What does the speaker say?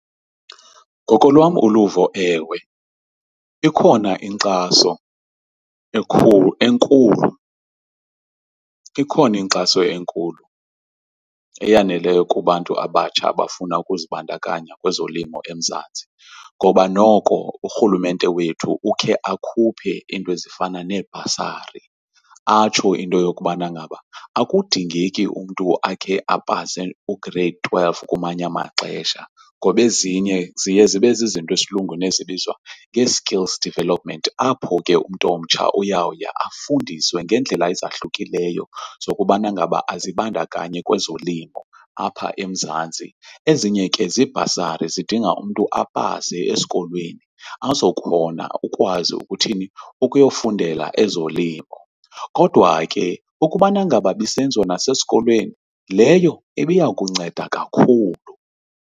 Ngokolwam uluvo, ewe, ikhona inkxaso enkulu, ikhona inkxaso enkulu eyaneleyo kubantu abatsha abafuna ukuzibandakanya kwezolimo eMzantsi, ngoba noko urhulumente wethu ukhe akhuphe iinto ezifana neebhasari. Atsho into yokubana ngaba akudingeki umntu akhe apase u-grade twelve kumanye amaxesha ngoba ezinye ziye zibe zizinto esilungwini ezibizwa nge-skills developments apho ke umntu omtsha uyawuya afundiswe ngeendlela ezahlukileyo zokubana ngaba azibandakanye kwezolimo apha eMzantsi. Ezinye ke ziibhasari zidinga umntu apase esikolweni azokhona ukwazi ukuthini ukuyokufundela ezolimo. Kodwa ke, ukubana ngaba ibisenziwa nasesikolweni leyo ibiya kunceda kakhulu.